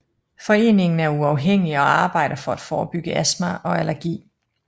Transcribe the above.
Foreningen er uafhængig og arbejder for at forebygge astma og allergi